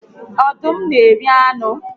Ọdụm na eri anụ